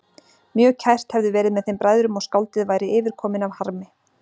Mjög kært hefði verið með þeim bræðrum og skáldið væri yfirkominn af harmi.